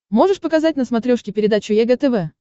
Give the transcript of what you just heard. можешь показать на смотрешке передачу егэ тв